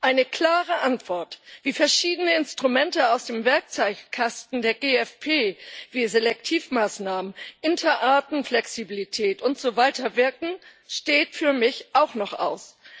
Eine klare Antwort, wie verschiedene Instrumente aus dem Werkzeugkasten der GFP wie Selektivmaßnahmen, Interartenflexibilität und so weiter wirken, steht für mich auch noch aus.